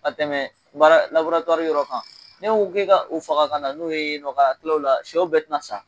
Ka tɛmɛ yɔrɔ kan n'e ko e ka o faga ka na n'o ye nɔ ka tila o la sɛw bɛɛ tɛna sa